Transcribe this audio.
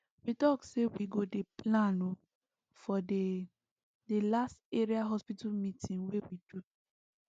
we talk say we go dey plan ooo for the the last area hospital meeting wey we do